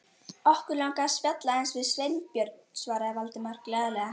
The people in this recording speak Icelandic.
Okkur langaði að spjalla aðeins við Sveinbjörn- svaraði Valdimar glaðlega.